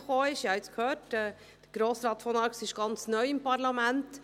Sie haben es gehört, Grossrat von Arx ist ganz neu im Parlament.